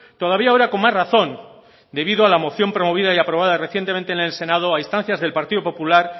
todavía ahora con más razón debido a la moción promovida y aprobada recientemente en el senado a instancias del partido popular